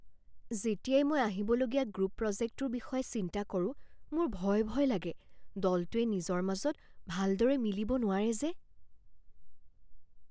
যেতিয়াই মই আহিবলগীয়া গ্ৰুপ প্ৰজেক্টটোৰ বিষয়ে চিন্তা কৰো মোৰ ভয় ভয় লাগে, দলটোৱে নিজৰ মাজত ভালদৰে মিলিব নোৱাৰে যে।